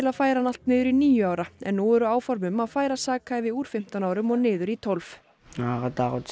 að færa hann allt niður í níu ára en nú eru áform um að færa sakhæfi úr fimmtán árum og niður í tólf